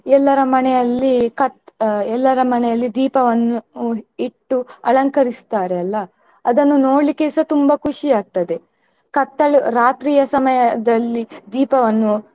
ಎಲ್ಲರ ಮನೆಯಲ್ಲಿ ಕತ್~ ಎಲ್ಲರ ಮನೆಯಲ್ಲಿ ದೀಪವನ್ನು ಇಟ್ಟು ಅಲಂಕರಿಸ್ತಾರೆ ಅಲ್ಲಾ ಅದನ್ನು ನೋಡ್ಲಿಕ್ಕೆಸ ತುಂಬಾ ಖುಷಿ ಆಗ್ತದೆ ಕತ್ತಲು ರಾತ್ರಿಯ ಸಮಯದಲ್ಲಿ ದೀಪವನ್ನು.